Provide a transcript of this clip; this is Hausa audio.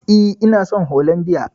E, ina son holandiya.